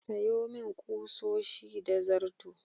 Sayo min ƙusoshi da zarto.